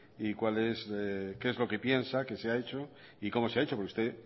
y qué es lo que piensa qué se ha hecho y cómo se ha hecho porque usted